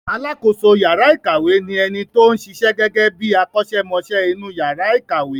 Alákoso yàrá ìkàwé ni ẹni tó ń ṣiṣẹ́ gẹ́gẹ́ bí akọ́ṣẹ́mọṣẹ́ inú yàrà ìkàwé.